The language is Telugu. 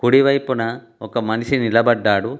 కుడి వైపున ఒక మనిషి నిలబడ్డాడు.